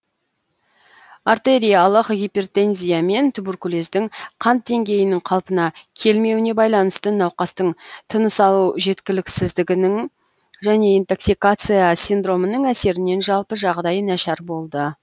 артериялық гипертензия мен туберкулездің қант деңгейінің қалпына келмеуіне байланысты науқастың тыныс алу жеткіліксіздігінің және интоксикация синдромының әсерінен жалпы жағдайы нашар болды